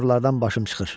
Motorlardan başım çıxır.